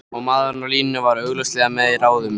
Og maðurinn á línunni var augljóslega með í ráðum.